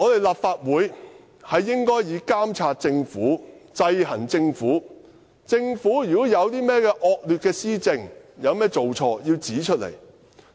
立法會應以監察政府、制衡政府為己任；如果政府有甚麼惡劣施政，有甚麼做錯，我們要指出來。